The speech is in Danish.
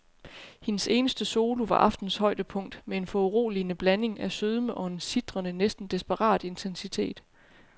Hendes eneste solo var aftenens højdepunkt med en foruroligende blanding af sødme og en sitrende, næsten desperat intensitet.